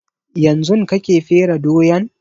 Yanzun kake fere doyan?